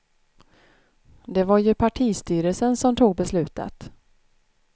Det var ju partistyrelsen som tog beslutet.